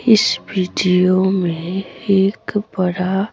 इस वीडियो में एक बड़ा--